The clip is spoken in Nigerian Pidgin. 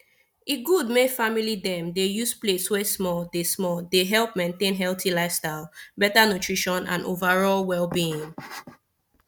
e good may family dem dey use plate wey smalle dey smalle dey help maintain healthy lifestyle better nutrition and overall wellbeing